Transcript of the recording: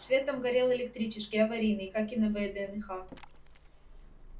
свет там горел электрический аварийный как и на вднх